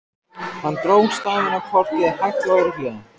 Hann dró stafina á kortið hægt og örugglega.